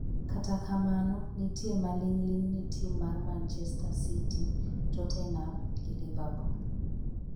kata kamano, nitie maling'ling ni tim mar manchester city, Totenam gi liverpool